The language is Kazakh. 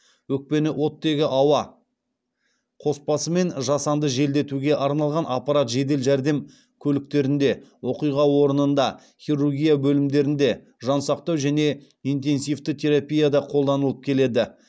өкпені оттегі ауа қоспасымен жасанды желдетуге арналған аппарат жедел жәрдем көліктерінде оқиға орнында хирургия бөлімдерінде жансақтау және интенсивті терапияда қолданылып келеді